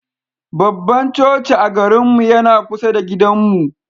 Babban coci a garinmu yana kusa da gidanmu.